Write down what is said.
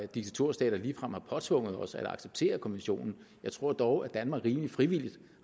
diktaturstater ligefrem har påtvunget os at acceptere konventionen jeg tror dog at danmark rimelig frivilligt